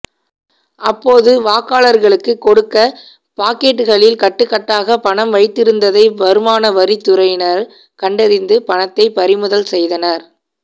அப்போது வாக்காளர்களுக்கு கொடுக்க பாக்கெட்களில் கட்டுக்கட்டாக பணம் வைத்திருந்ததை வருமான வரித்துறையினர் கண்டறிந்து பணத்தை பறிமுதல் செய்தனர்